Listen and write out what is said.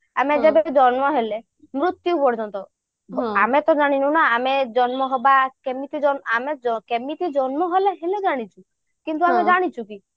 ଆମେ ଯେବେ ବି ଜନ୍ମ ହେଲେ ମୃତ୍ୟୁ ପର୍ଯ୍ୟନ୍ତ ଆମେ ତ ଜାଣିନୁ ନା ଆମେ ଜନ୍ମ ହବା କେମିତି ଆମେ କେମିତି ଜନ୍ମ ହେଲେ ଜାଣିଛୁ କିନ୍ତୁ ଆମେ ଜାଣିଛୁ କି